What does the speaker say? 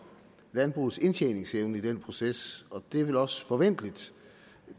landbrugets indtjeningsevne i den proces og det er vel også forventeligt